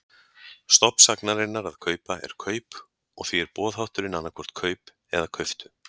Stofn sagnarinnar að kaupa er kaup og því er boðhátturinn annaðhvort kaup eða kauptu.